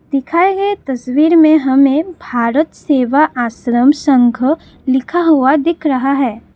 दिखाए गए तस्वीर में हमें भारत सेवा आश्रम संघ लिखा हुआ दिख रहा है।